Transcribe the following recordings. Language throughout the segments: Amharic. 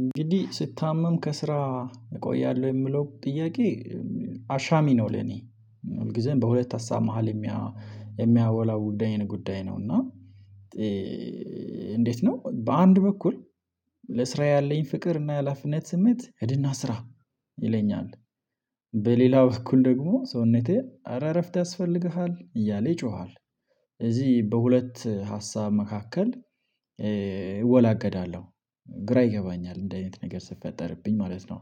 እንግዲህ ስታመም ከስራ እቆያለሁ የሚለው ጥያቄ አሻሚ ነው። ለእኔ ሁል ጊዜም በሁለት ሀሳብ መሃል የሚያ የሚያወላው ጉዳይ ጉዳይ ነው። እና እንዴት ነው? በአንድ በኩል ለስራ ያለኝ ፍቅር እና የኃላፊነት ስሜት ሂድና ስራ ይለኛል። በሌላ በኩል ደግሞ ሰውነቴ አረ እረፍት ያስፈልግሃል እያለ ይጮሃል። እዚህ በሁለት ሀሳብ መካከል እወላገዳለሁ ግራ ይገባኛል እንደህ አይነት ነገር ሲፈጠርብኝ ማለት ነው።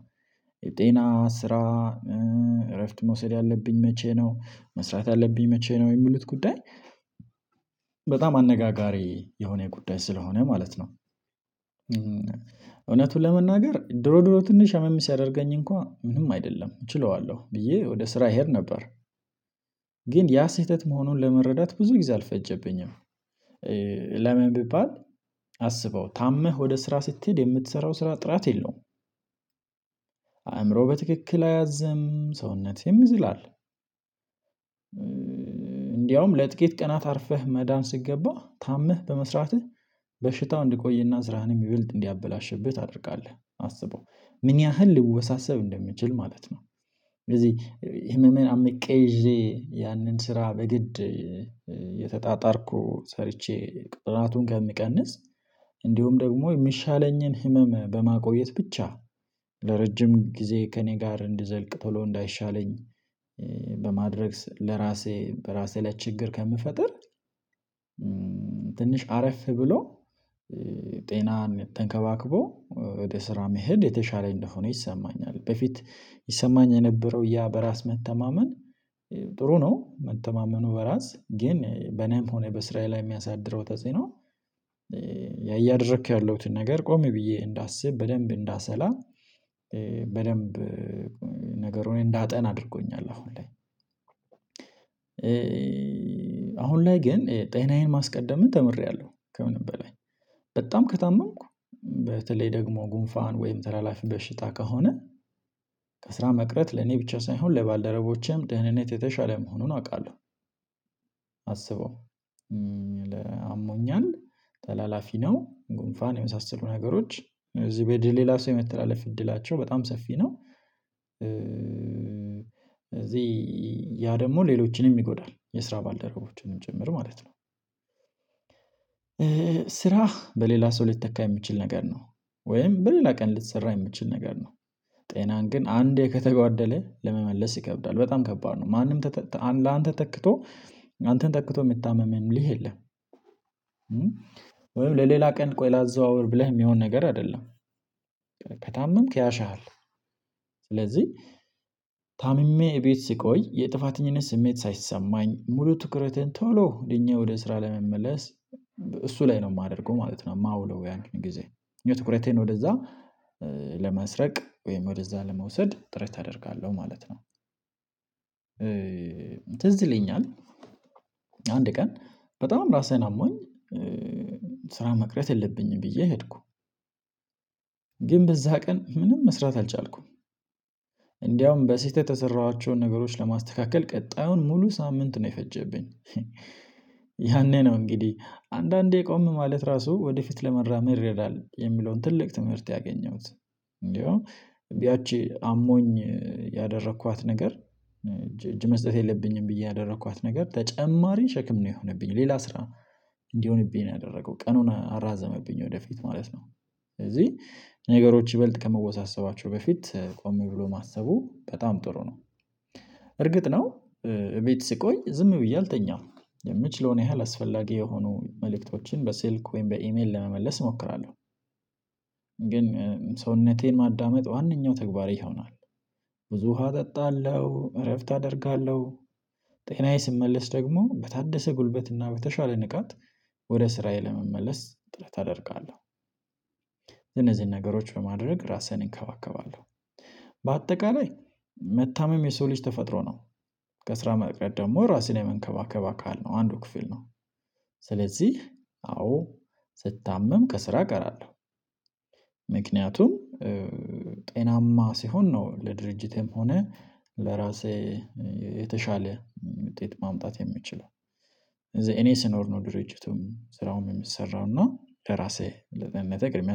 የጤና ስራ እረፍት መውሰድ ያለብኝ መቼ ነው መስራት ያለብኝ መቼ ነው የሚሉት ጉዳይ? በጣም አነጋጋሪ የሆነ ጉዳይ ስለሆነ ማለት ነው። እውነቱን ለመናገር ድሮ ድሮ ትንሽ አመም ሲያደርገኝ እንኳን ምንም አይደለም እችለዋለሁ ብዬ ወደ ስራ እሄድ ነበር። ግን ያ ስህተት መሆኑን ለመረዳት ብዙ ጊዜ አልፈጀብኝም። ለምን ቢባል? አስበው ታመህ ወደ ስራ ስትሄድ የምትሠራው ስራ ጥራት የለውም። አእምሮ በትክክል አያዘም ሰውነት ይዝላል። እንደውም ለጥቂት ቀናት አርፈህ መዳን ሲገባ ታምህ በመሥራትህ በሽታው እንዲቆይና ስራህን ይሚበልጥ እንዲያበላሽብህ ታደርጋለህ አስበው ምን ያህል ሊወሳሰብ እንደሚችል ማለት ነው። ስለዚህ ህመምን አምቄ ይዤ ያንን ስራ በግድ እየተጣጣርኩ ሰርቼ ቅጣቱን ከምቀንስ። እንዲሁም ደግሞ የሚሻለኝን ህመም በማቆየት ብቻ ለረጅም ጊዜ ከእኔ ጋር እንዲዘልቅ ቶሎ እንዳይሻለኝ። በማድረግ ለራሴ በራሴ ላይ ችግር ከምፈጥር። ትንሽ አረፍ ብሎ ጤናን ተንከባክቦ ወደ ስራ መሄድ የተሻለ እንደሆነ ይሰማኛል። በፊት ይሰማኝ የነበረው ያ በራስ መተማመን ጥሩ ነው መተማመኑ በራስ ግን በኔም ሆነ በሥራየ ላይ የሚያሳድረው ተጽዕኖ። እያደረኩ ያለሁትን ነገር ቆም ብዬ እንዳስብ በደንብ እንዳሰላ በደንብ ነገሩን እንዳጠና አድርጎኛል። አሁን ላይ አሁን ላይ ግን ጤናዬን ማስቀደምን ተምሬያለሁ። ከምንም በላይ በጣም ከታመምኩ በተለይ ደግሞ ጉንፋን ወይም ተላላፊ በሽታ ከሆነ ከስራ መቅረት ለኔ ብቻ ሳይሆን ለባልደረቦቼም ደህንነት የተሻለ መሆኑን አውቃለሁ። አስበው አሞኛል ተላላፊ ነው ጉንፋን የመሳሰሉ ነገሮች እዚህ በ ወደ ሌላ ሰው የመተላለፍ እድላቸው በጣም ሰፊ ነው። እዚህ ያ ደግሞ ሌሎችንም ይጎዳል የስራ ባልደረቦችንም ጭምር ማለት ነው። ስራ በሌላ ሰው ሊተካ የሚችል ነገር ነው። ወይም በሌላ ቀን ሊሰራ የሚችል ነገር ነው። ጤናን ግን አንዴ ከተጓደለ ለመመለስ ይከብዳል በጣም ከባድ ነው። ማንም ተተ ላንተ ተክቶ አንተን ተክቶ የሚታመምልህ የለም። ለሌላ ቀን ቆይ ላዘዋወር ብለህ የሚሆን ነገር አይደለም። ከታመምክ ያሽሃል። ስለዚህ ታምሜ ቤት ስቆይ የጥፋተኝነት ስሜት ሳይሰማኝ ሙሉ ትኩረትን ቶሎ እኛ ወደ ስራ ለመመለስ እሱ ላይ ነው የማደርገው ማለት ነው። የማውለው ያንን ጊዜ ትኩረቴን ወደዛ ለመስረቅ ወይም ወደዛ ለመውሰድ ጥረት አደርጋለሁ ማለት ነው። ትዝ ይለኛል። አንድ ቀን በጣም ራሴን አሞኝ ስራ መቅረት የለብኝም ብዬ ሄድኩ። ግን በዛ ቀን ምንም መስራት አልቻልኩም። እንደውም በስህተት የሠራኋቸውን ነገሮች ለማስተካከል ቀጣዩን ሙሉ ሳምንት ነው የፈጀብኝ። ያኔ ነው እንግዲህ አንዳንዴ ቆም ማለት ራሱ ወደፊት ለመራመድ ይረዳል የሚለውን ትልቅ ትምህርት ያገኘሁት። እንደውም ያቺ አሞኝ ያደረኳት ነገር እጅ እጅ መስጠት የለብኝም ብዬ ያደረኳት ነገር ተጨማሪ ሸክም ነው የሆነብኝ ሌላ ስራ እንዲሆንብኝ ነው ያደረገው ቀኑን አራዘመብኝ ወደፊት ማለት ነው። ስለዚህ ነገሮች ይበልጥ ከመወሳሰባቸው በፊት ቆም ብሎ ማሰቡ በጣም ጥሩ ነው። እርግጥ ነው። ቤት ስቆይ ዝም ብዬ አልተኛም የምችለውን ያህል አስፈላጊ የሆኑ መልእክቶችን በስልክ ወይም በኢሜል ለመመለስ እሞክራለሁ። ግን ሰውነቴን ማዳመጥ ዋነኛው ተግባሬ ይሆናል። ብዙ ውሃ እጠጣለሁ እረፍት አደርጋለሁ። ጤናዬ ሲመለስ ደግሞ በታደሰ ጉልበት እና በተሻለ ንቃት ወደ ስራዬ ለመመለስ ጥረት አደርጋለሁ። እነዚህን ነገሮች በማድረግ ራሴን እንከባከባለሁ። በአጠቃላይ መታመም የሰው ልጅ ተፈጥሮ ነው። ከስራ መቅረት ደግሞ ራስን የመንከባከብ አካል ነው አንዱ ክፍል ነው። ስለዚህ አዎ ስታመም ከስራ እቀራለሁ። ምክንያቱም ጤናማ ስሆን ነው ለድርጅትም ሆነ ለራሴ የተሻለ ውጤት ማምጣት የምችለው። እኔ ስኖር ነው ድርጅቱም ስራውም የሚሰራው እና ከራሴ ለመንጠቅ የሚያሰ